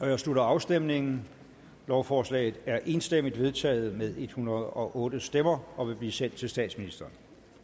jeg slutter afstemningen lovforslaget er enstemmigt vedtaget med en hundrede og otte stemmer og vil blive sendt til statsministeren